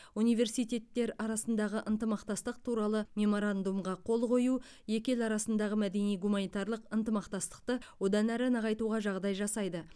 университеттер арасындағы ынтымақтастық туралы меморандумға қол қою екі ел арасындағы мәдени гуманитарлық ынтымақтастықты одан әрі нығайтуға жағдай жасайды